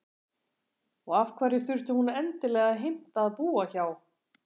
Og af hverju þurfti hún endilega að heimta að búa hjá